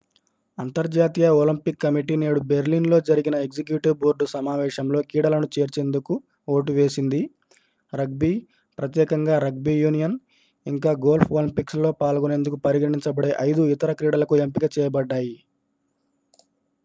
అంతర్జాతీయ Olympic committee నేడు Berlin లో జరిగిన ఎగ్జిక్యూటివ్ బోర్డు సమావేశంలో క్రీడలను చేర్చేందుకు ఓటు వేసింది రగ్బీ ప్రత్యేకంగా రగ్బీ యూనియన్ ఇంకా గోల్ఫ్ ఒలింపిక్స్ లో పాల్గొనేందుకు పరిగణించ బడే ఐదు ఇతర క్రీడలకు ఎంపిక చేయబడ్డాయి